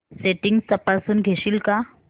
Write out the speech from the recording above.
settings तपासून घेशील का